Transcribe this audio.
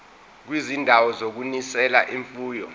kwizindawo zokunonisela imfuyo